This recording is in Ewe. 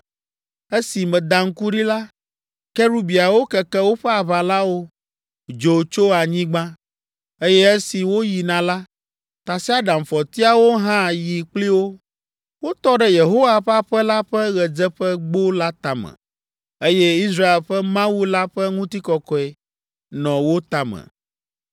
Esi meda ŋku ɖi la, kerubiawo keke woƒe aʋalawo, dzo tso anyigba, eye esi woyina la, tasiaɖamfɔtiawo hã yi kpli wo. Wotɔ ɖe Yehowa ƒe aƒe la ƒe ɣedzeƒegbo la tame, eye Israel ƒe Mawu la ƒe ŋutikɔkɔe nɔ wo tame.